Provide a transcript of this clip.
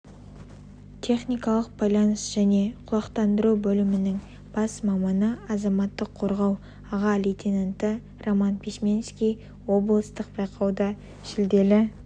техникалық байланыс және құлақтандыру бөлімінің бас маманы азаматтық қорғау аға лейтенанты роман письменский облыстық байқауда жүлделі